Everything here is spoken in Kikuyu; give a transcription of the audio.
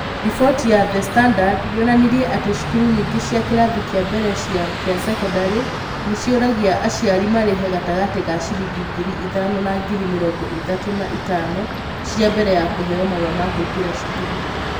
Riboti ya The Standard yonanirie atĩ cukuru nyingĩ cia kĩrathi kĩa mbere kĩa cekondarĩ nĩ cioragia aciari marĩhe gatagatĩ ka ciringi ngiri itahno na ngiri mĩrongo ĩthatũ na ĩtano cia mbere ya kũheo marũa ma kũingĩra cukuru.